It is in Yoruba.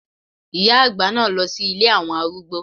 Ìyá àgbà náà lọ sí ilé àwọn arúgbó.